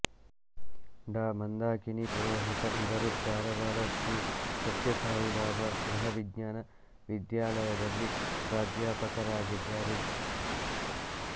ಡಾಮಂದಾಕಿನಿ ಪುರೋಹಿತ ಇವರು ಧಾರವಾಡದ ಶ್ರೀ ಸತ್ಯ ಸಾಯಿಬಾಬಾ ಗೃಹವಿಜ್ಞಾನ ವಿದ್ಯಾಲಯದಲ್ಲಿ ಪ್ರಾಧ್ಯಾಪಕರಾಗಿದ್ದಾರೆ